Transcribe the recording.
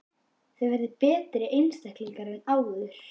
Þið verðið betri einstaklingar en áður!